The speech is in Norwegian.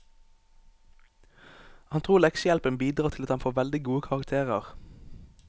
Han tror leksehjelpen bidrar til at han får veldig gode karakterer.